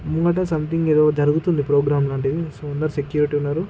ముంగట సంథింగ్ ఏదో జరుగుతుంది ప్రోగ్రాం లాంటిది.సో అందరు సెక్యూరిటీ ఉన్నారు.